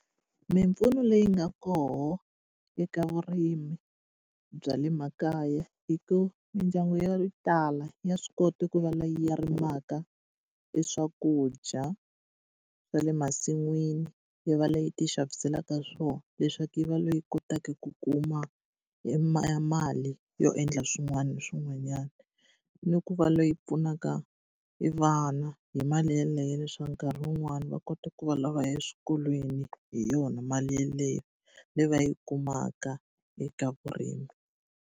Mimpfuno leyi nga koho eka vurimi bya le makaya i ku mindyangu yo tala ya swi kota ku va laya rimaka e swakudya swa le masin'wini, yi va leyi tixaviselaka swona leswaku yi va leyi kotaka ku kuma e mali yo endla swin'wana na swin'wanyana. Ni ku va leyi pfunaka e vana hi mali yeleyo leswaku nkarhi wun'wani va kota ku vana va ya eswikolweni hi yona mali yeleyo leyi va yi kumaka eka vurimi.